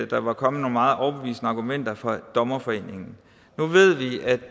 der var kommet nogle meget overbevisende argumenter fra dommerforeningen nu